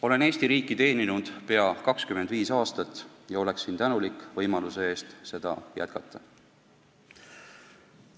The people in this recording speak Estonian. Olen Eesti riiki teeninud pea 25 aastat ja oleksin tänulik võimaluse eest seda jätkata.